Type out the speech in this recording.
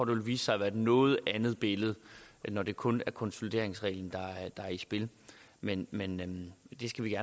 vil vise sig at være et noget andet billede når det kun er konsolideringsreglen der er i spil men men det skal vi